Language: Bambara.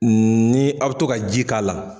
Ni a bɛ to ka ji k'a la